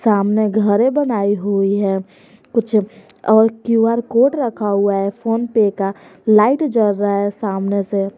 सामने घरे बनाई हुई है कुछ और क्यू_आर कोड रखा हुआ है फोनपे का लाइट जल रहा है सामने से।